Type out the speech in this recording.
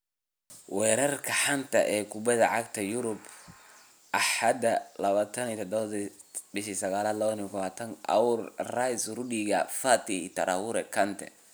Wararka xanta kubada cagta Yurub Axad 27.09.2020: Aouar, Rice, Rudiger, Fati, Torreira, Kante